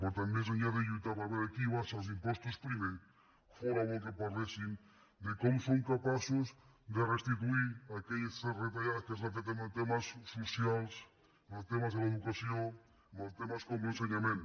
per tant més enllà de lluitar per veure qui abaixa els impostos primer fóra bo que par·léssim de com som capaços de restituir aquelles reta·llades que s’han fet en els temes socials en els temes de l’educació en els temes com l’ensenyament